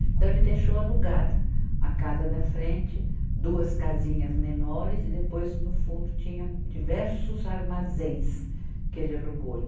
Então ele deixou alugada a casa da frente, duas casinhas menores e depois no fundo tinha diversos armazéns que ele alugou.